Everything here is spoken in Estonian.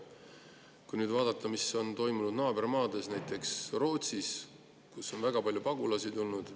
Kui nüüd vaadata, mis on toimunud naabermaades, näiteks Rootsis, kuhu on väga palju pagulasi tulnud.